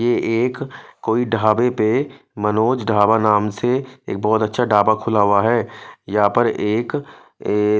यह एक कोई ढाबे पर मनोज ढाबा नाम से बहोत अच्छा ढाबा खुला हुआ है यहाँ पर एक ऐ--